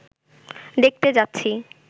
দেখতে যাচ্ছি